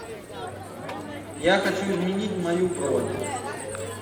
я хочу изменить мою бронь